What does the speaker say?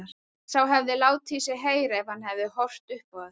Sá hefði látið í sér heyra ef hann hefði horft upp á þetta!